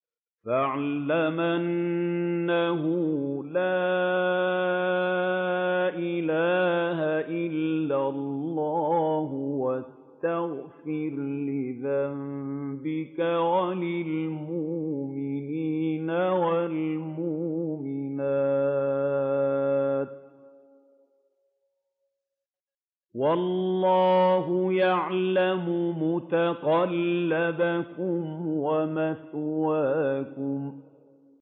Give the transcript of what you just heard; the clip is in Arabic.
فَاعْلَمْ أَنَّهُ لَا إِلَٰهَ إِلَّا اللَّهُ وَاسْتَغْفِرْ لِذَنبِكَ وَلِلْمُؤْمِنِينَ وَالْمُؤْمِنَاتِ ۗ وَاللَّهُ يَعْلَمُ مُتَقَلَّبَكُمْ وَمَثْوَاكُمْ